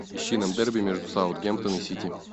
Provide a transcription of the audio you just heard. ищи нам дерби между саутгемптон и сити